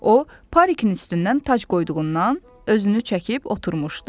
O, parikin üstündən tac qoyduğundan özünü çəkib oturmuşdu.